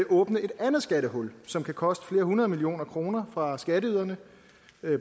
åbne et andet skattehul som kan koste flere hundrede millioner kroner for skatteyderne